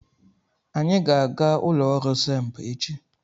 Anyị ga-aga ụlọ ọrụ SEMB echi.